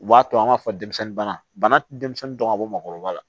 U b'a to an b'a fɔ denmisɛnnin bana denmisɛnnin dɔn ka bɔ maakɔrɔba la